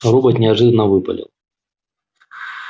робот неожиданно выпалил